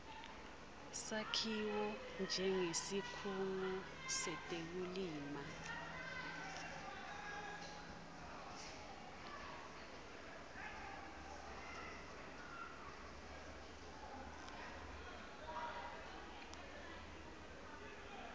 sakhiwo njengesikhungo setekulima